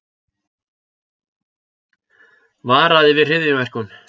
Varaði við hryðjuverkum